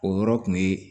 O yɔrɔ kun ye